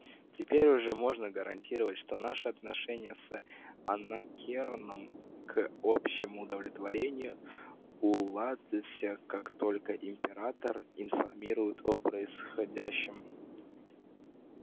теперь уже можно гарантировать что наши отношения с анакреоном к общему удовлетворению уладятся как только императора информируют о происходящем